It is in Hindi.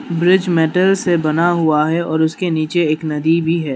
ब्रिज मेटल से बना हुवा है और उसके नीचे एक नदी भी है।